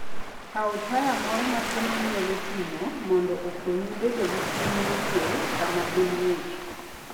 Kaw taya moro matin minyalo ting'o mondo okonyi bedo gi chuny mokuwe sama piny ng'ich.